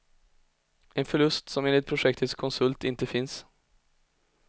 En förlust som enligt projektets konsult inte finns.